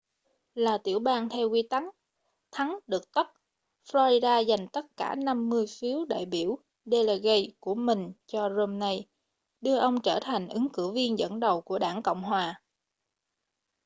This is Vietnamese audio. là tiểu bang theo quy tắc thắng được tất” florida dành tất cả năm mươi phiếu đại biểu delegates của mình cho romney đưa ông trở thành ứng cử viên dẫn đầu của đảng cộng hòa